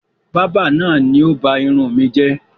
Báábà náà ni ó ba irun mi jẹ́